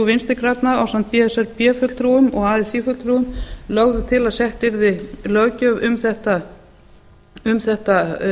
vinstri grænna ásamt b s r b fulltrúum og así fulltrúum lögðu til að sett yrði löggjöf um þetta